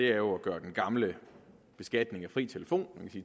jo at gøre den gamle beskatning af fri telefon